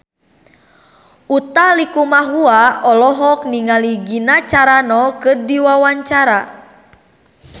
Utha Likumahua olohok ningali Gina Carano keur diwawancara